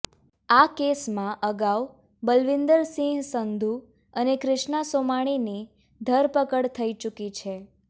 આ કેસમાં અગાઉ બલવિંદરસિંગ સંધુ અને ક્રિષ્ણા સોમાણીની ધરપકડ થઈ ચુકી છે